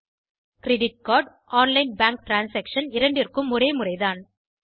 credit card online bank transaction இரண்டிற்கும் ஒரே முறைதான்